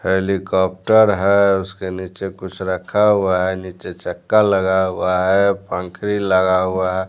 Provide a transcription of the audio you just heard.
Helicopter है उसके नीचे कुछ रखा हुआ है नीचे चक्का लगा हुआ है फंकनी लगा हुआ है।